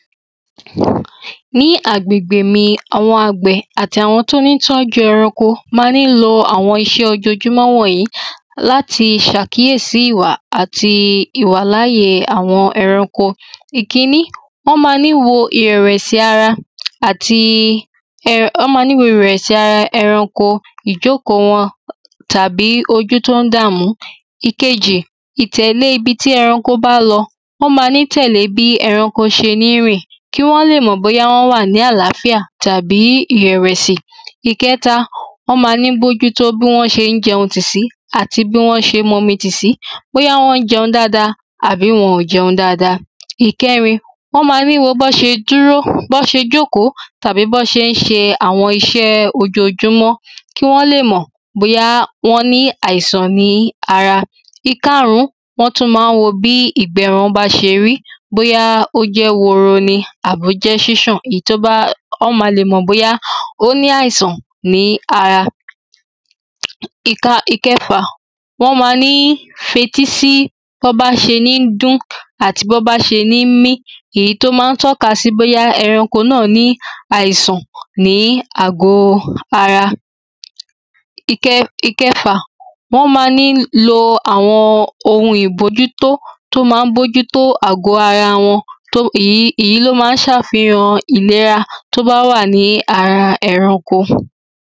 ní agbègbè mi, awòn àgbẹ̀ àti àwọn tí ó ń tọ́jú ẹranko ma ń lo àwọn irinṣé ojojúmọ́ wọ̀nyí láti ṣàkíyèsí ìwà àti ìwàláàyè àwọn ẹranko. Ìkíní ẁọ́n ma ń wo ìrẹ̀wẹ̀sí ara ẹranko, ìjókòó wọn tàbí ojú to ń dá mú. Ìkejì: ìtẹ̀lé ibi tí ẹranko bá lọ, wọ́n màa ń tẹ̀lé bi ẹranko ṣe n rìn, ki wọ́n le mọ̀ bóyá wọ́n wà ní àlàáfíà tàbí ìrẹ̀wẹ̀si. Ìketa: wọ́n máa ń bòjútó bí wọ́n ṣe ń jẹun tí sí ati bí wọ̀n ṣe ń mumi tì si, bóyá wọ̀n ń jẹun dáadáa àbí wọn ò jẹun dáadáa. Ìkẹrin wọ́n ma ń wo bí wọ́n ṣe ń dúró, bí wọ́n ṣe ń jókòó tàbí bí wọ́n ṣe ń ṣe àwọn iṣẹ́ ojojúmọ́. kí wọ́n lè mọ̀ bóyá wọ́n ní àìsàn ní ara Ìkarùn ún wọ́n tun máa n wo bí ìgbẹ́ ẹranko bá ṣe rí, bóyá ò jẹ́ woro ní àbí ó jẹ́́ ṣíṣàn ni wọn ma lè mọ̀ bóyá o ní àìsàn ní ara ìkẹfà¨wọ́n ma ń fetísí bí wọ́n bá ṣe ń dún àti bí wọ́n bá ṣe ń mí, Èyí tó ma ń tọ́ka sí bóyá ẹranko náà ní áìsàn ní àgo ara. ìkeje: wọ́n ma ń lo àwọn ohun ìbójútó to ma ń bójútó àgo ara wọn, Èyí lo ma ń ṣe àfihàn ìlera tó bá wà lára ẹranko.